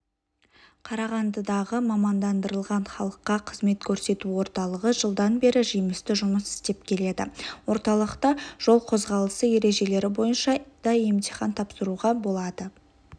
қарағандыдағы мамандандырылған халыққа қызмет көрсету орталығы жылдан бері жемісті жұмыс істеп келеді орталықта жол қозғалысы ережелері бойынша да емтихан тапсыруға болады